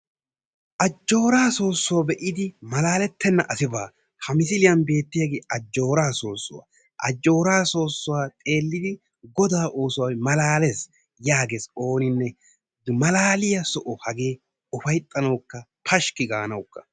ajooraa soossuwa be'idi malaaletenna asai baa. ha misiliyan beettiyaagee ajooraa soossuwa, ajooraa soossuwa xeelidi godaa oosoy malaalees yaagees ooninne, malaaliya soho hagee ufaytanawukka pashki gaanaw.